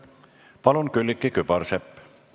Palun, Külliki Kübarsepp!